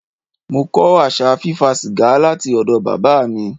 Mo kọ́ àṣà fí fa sìgá láti ọ̀dọ̀ Bàbá mi.